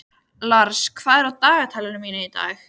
Lars, hvað er í dagatalinu mínu í dag?